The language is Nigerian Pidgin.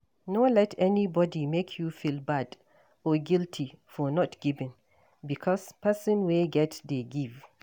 No let anybody make you feel bad or guilty for not giving because person wey get dey give